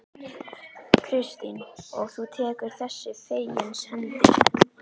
Kristín: Og þú tekur þessu fegins hendi?